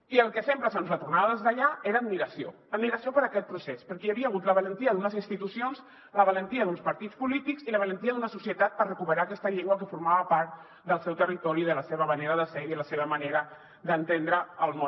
i el que sempre se’ns retornava des d’allà era admiració admiració per aquest procés perquè hi havia hagut la valentia d’unes institucions la valentia d’uns partits polítics i la valentia d’una societat per recuperar aquesta llengua que formava part del seu territori de la seva manera de ser i de la seva manera d’entendre el món